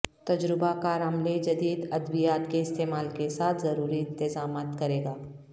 تجربہ کار عملے جدید ادویات کے استعمال کے ساتھ ضروری انتظامات کرے گا